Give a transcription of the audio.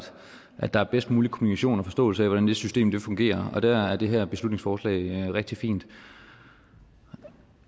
at der er bedst mulig kommunikation og forståelse af hvordan det system fungerer der er det her beslutningsforslag rigtig fint